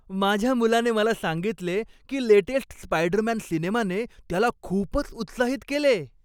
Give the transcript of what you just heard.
माझ्या मुलाने मला सांगितले की लेटेस्ट स्पायडरमॅन सिनेमाने त्याला खूपच उत्साहित केले.